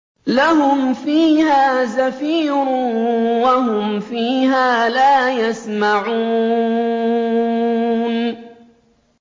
لَهُمْ فِيهَا زَفِيرٌ وَهُمْ فِيهَا لَا يَسْمَعُونَ